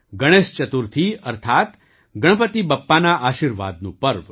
ગણેશ ચતુર્થી અર્થાત ગણપતિ બપ્પાના આશીર્વાદનું પર્વ